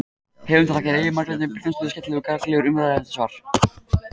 Höfundur þakkar Eyju Margréti Brynjarsdóttur skemmtilegar og gagnlegar umræður um þetta svar.